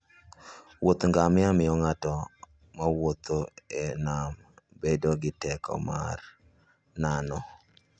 Wuoth ngamia miyo ng'ato mawuotho e nam bedo gi teko mar nano.